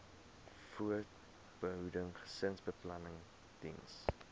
voorbehoeding gesinsbeplanning diens